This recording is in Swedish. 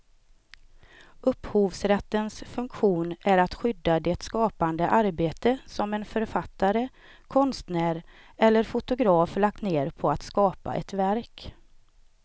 Upphovsrättens funktion är att skydda det skapande arbete som en författare, konstnär eller fotograf lagt ned på att skapa ett verk.